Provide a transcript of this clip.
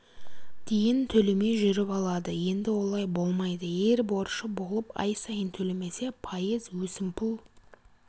дейін төлемей жүріп алады енді олай болмайды егер борышы болып ай сайын төлемесе пайыз өсімпұл